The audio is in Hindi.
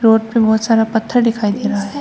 रोड पे बहुत सारा पत्थर दिखाई दे रहा है।